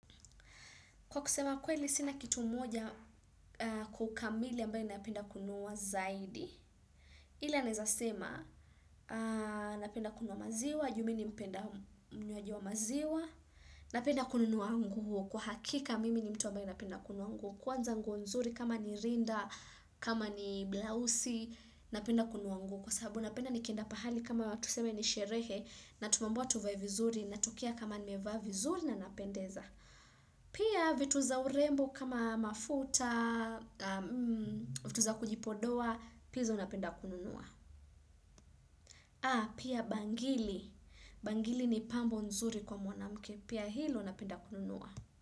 Kwa kusema kweli sina kitu moja kwa kamili ambaye napenda kununua zaidi, ila naezasema napenda kununuwa maziwa, ju mimi ni mpenda mnywaji wa maziwa, napenda kununua nguo, kwa hakika mimi ni mtu ambaye napenda kununua nguo, kwanza nguo nzuri kama ni rinda, kama ni blausi, napenda kununua nguo, kwa sababu napenda nikienda pahali kama tuseme ni sherehe, na tumeambiwa tuvae vizuri, natukia kama nimevaa vizuri na napendeza. Pia vitu za urembo kama mafuta, vitu za kujipodoa, pia hizo napenda kununua. Pia bangili, bangili ni pambo nzuri kwa mwanamke, pia hilo napenda kununua.